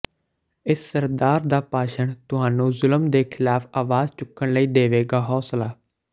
ਇਸ ਸਰਦਾਰ ਦਾ ਭਾਸ਼ਣ ਤੁਹਾਨੂੰ ਜ਼ੁਲਮ ਦੇ ਖਿਲਾਫ਼ ਆਵਾਜ਼ ਚੁੱਕਣ ਲਈ ਦੇਵੇਗਾ ਹੌਂਸਲਾ